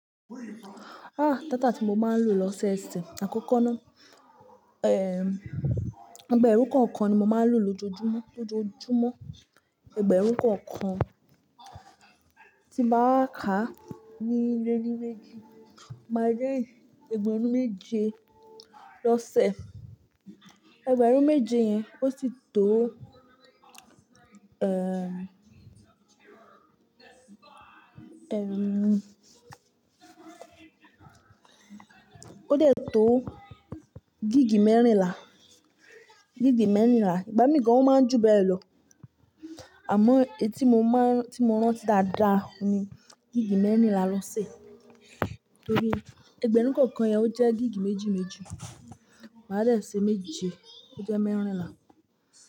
Ah! Data tí mo máa ń lò lọ́ṣeose, àkọ́kọ́ náà, eh, ẹgbẹ̀rún kọ̀ọ̀kan ni mo máa ń lò lójoojúmọ́, lójoojúmọ́. Ẹgbẹ̀rún kọ̀ọ̀kan tí mo bá kà ní lénimeejì, mo máa rí ẹgbẹ̀rún méje lọ́sẹ̀. Ẹgbẹ̀rún méje yẹn ó sì tó, eh, eh, ó dè tó gíìgì mẹ́rìnlá, gíìgì mẹ́rìnlá. Igbá mi gan an o máa ń jù bẹ́ẹ̀ lọ, àmọ́ etí mo má ń, tí mo rántí dáadáa ni gíìgì mẹ́rìnlá lọ́sẹ̀. Nítorí ẹgbẹ̀rún kọ̀ọ̀kan yẹn ó jẹ́ gíìgì méjì méjì, màá dá ẹ́ seméjì, ó jẹ́ mẹ́rìnlá.